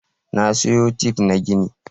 Na sayo tif na gini.